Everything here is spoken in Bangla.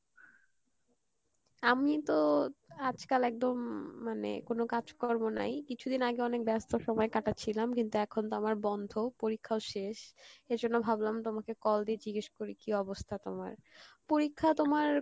আমি তো আজকাল একদম মানে কোনো কাজ কর্ম নাই, কিছুদিন আগে অনেক ব্যাস্ত সময় কাটাচ্ছিলাম কিন্তু এখন তো আমার বন্ধ পরীক্ষাও শেষ, এজন্য ভাবলাম তোমাকে call দি জিজ্ঞেস করি কী অবস্থা তোমার, পরিক্ষা তোমার